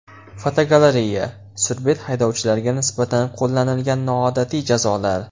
Fotogalereya: Surbet haydovchilarga nisbatan qo‘llanilgan noodatiy jazolar.